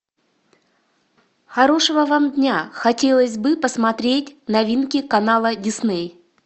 хорошего вам дня хотелось бы посмотреть новинки канала дисней